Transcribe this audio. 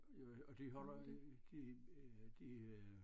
Øh og de holder i dø øh de øh